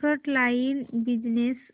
frontline business